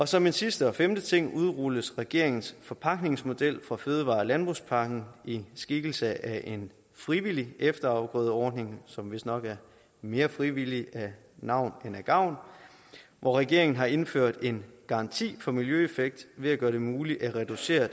som en sidste og femte ting udrulles regeringens forpagtningsmodel fra fødevare og landbrugspakken i skikkelse af en frivillig efterafgrødeordning som vistnok er mere frivillig af navn end af gavn hvor regeringen har indført en garanti for miljøeffekt ved at gøre det muligt at reducere